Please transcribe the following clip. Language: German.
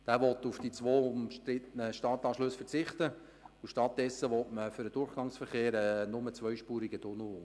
In diesem will man auf die zwei umstrittenen Stadtanschlüsse verzichten und diese durch einen nur zweispurigen Tunnel für den Durchgangsverkehr unter der Stadt ersetzen.